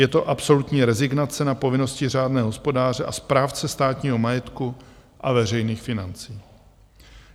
Je to absolutní rezignace na povinnosti řádného hospodáře a správce státního majetku a veřejných financí.